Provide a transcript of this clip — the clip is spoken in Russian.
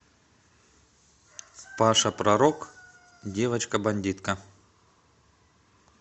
паша пророк девочка бандитка